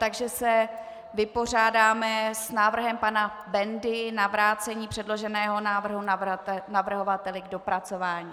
Takže se vypořádáme s návrhem pana Bendy na vrácení předloženého návrhu navrhovateli k dopracování.